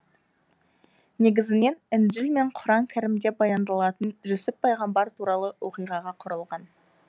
негізінен інжіл мен құран кәрімде баяндалатын жүсіп пайғамбар туралы оқиғаға құрылған